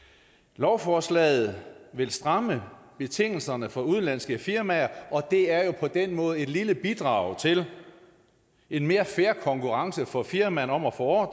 lovforslaget vil stramme betingelserne for udenlandske firmaer og det er jo på den måde et lille bidrag til en mere fair konkurrence for firmaerne om at få